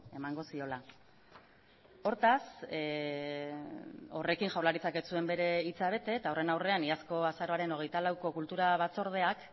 emango ziola hortaz horrekin jaurlaritzak ez zuen bere hitza bete eta horren aurrean iazko azaroaren hogeita lauko